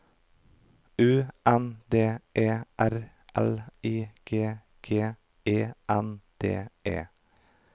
U N D E R L I G G E N D E